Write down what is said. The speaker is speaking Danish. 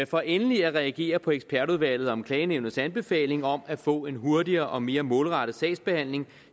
for endelig at reagere på ekspertudvalget om klagenævnets anbefalinger om at få en hurtigere og mere målrettet sagsbehandling